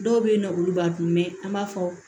Dɔw bɛ yen nɔ olu b'a dun an b'a fɔ